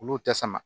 Olu tɛ sama